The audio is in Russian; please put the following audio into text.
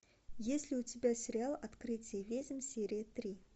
есть ли у тебя сериал открытие ведьм серия три